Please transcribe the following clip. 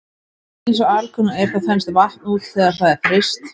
Eins og alkunna er þá þenst vatn út þegar það er fryst.